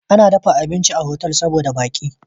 Ana girka abinci a hotel saboda baki